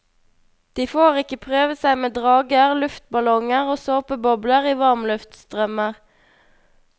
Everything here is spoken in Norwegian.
De får ikke prøve seg med drager, luftballonger og såpebobler i varmluftsstrømmer.